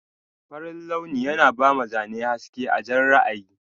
Farin launi yana bama Zane haske a Jan ra'ayi.